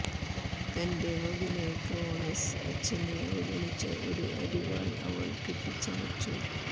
തന്റെ മകന് ക്രോണസ് അച്ഛനെ അവഗണിച്ച ഒരു അരിവാൾ അവൾ കെട്ടിച്ചമച്ചു